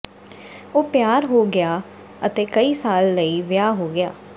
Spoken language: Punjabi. ਉਹ ਪਿਆਰ ਹੋ ਗਿਆ ਅਤੇ ਕਈ ਸਾਲ ਲਈ ਵਿਆਹ ਹੋ ਗਿਆ